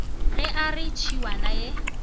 ge a re tšhiwana ye